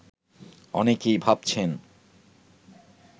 অনেকেই ভাবছেন